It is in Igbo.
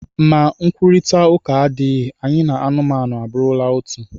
Ma nkwurịta ụka adịghị, anyị na anụmanụ abụrụla otu